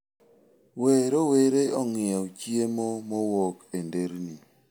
We rowere ong'iew chiemo mowuok e nderni.